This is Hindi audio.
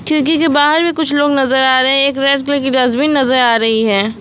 खिड़की के बाहर भी कुछ लोग नजर आ रहे हैं एक रेड कलर की डस्टबिन नजर आ रही है।